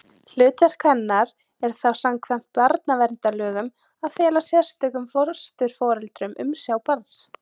Hlutverk hennar er þá samkvæmt barnaverndarlögum að fela sérstökum fósturforeldrum umsjá barns.